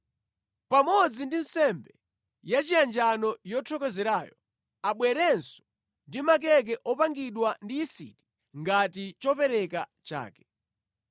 Pamodzi ndi nsembe yachiyanjano yothokozerayo abwerenso ndi makeke opangidwa ndi yisiti ngati chopereka chake.